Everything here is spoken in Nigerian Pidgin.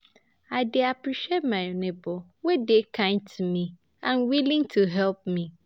I dey appreciate my neighbor wey dey kind to me and willing to help me.